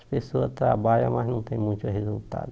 As pessoas trabalham, mas não tem muito resultado.